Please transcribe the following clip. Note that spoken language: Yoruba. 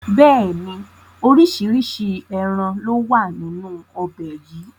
Bẹ́ẹ̀ni, oríṣiríṣi ẹran lowa nínú ọbẹ̀ yìí